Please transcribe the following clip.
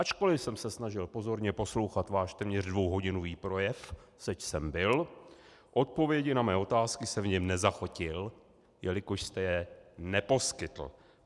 Ačkoliv jsem se snažil pozorně poslouchat váš téměř dvouhodinový projev, seč jsem byl, odpovědi na mé otázky jsem v něm nezachytil, jelikož jste je neposkytl.